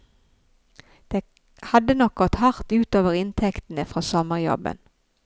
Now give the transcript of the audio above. Det hadde nok gått hardt ut over inntektene fra sommerjobben.